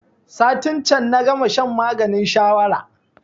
Satin can na gama shan maganin shawara